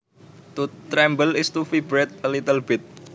To tremble is to vibrate a little bit